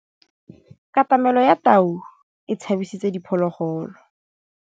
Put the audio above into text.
Katamêlô ya tau e tshabisitse diphôlôgôlô.